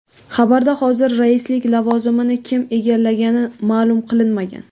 Xabarda hozir raislik lavozimini kim egallagani ma’lum qilinmagan.